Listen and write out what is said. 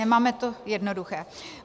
Nemáme to jednoduché.